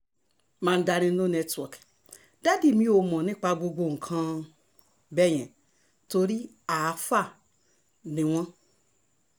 mandarin no network dádì mi ò mọ̀ nípa gbogbo nǹkan um bẹ́ẹ̀ yẹn torí àáfàá ni um wọ́n